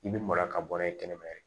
I bɛ mara ka bɔ n'a ye kɛnɛma yɛrɛ